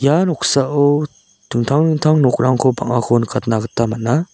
ia noksao dingtang dingtang nokrangko bang·ako nikatna gita man·a.